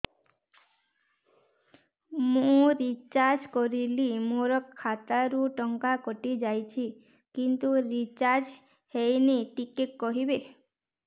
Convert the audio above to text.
ମୁ ରିଚାର୍ଜ କରିଲି ମୋର ଖାତା ରୁ ଟଙ୍କା କଟି ଯାଇଛି କିନ୍ତୁ ରିଚାର୍ଜ ହେଇନି ଟିକେ କହିବେ